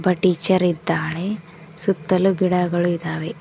ಒಬ್ಬ ಟೀಚರ್ ಇದ್ದಾಳೆ ಸುತ್ತಲು ಗಿಡಗಳು ಇದ್ದಾವೆ.